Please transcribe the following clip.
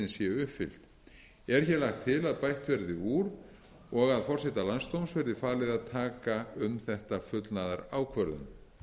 skilyrðin séu uppfyllt er hér lagt til að bætt verði úr og að forseta landsdóms verði falið að taka um þetta fullnaðarákvörðun